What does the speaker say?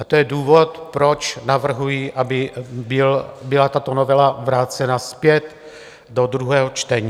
A to je důvod, proč navrhuji, aby byla tato novela vrácena zpět do druhého čtení.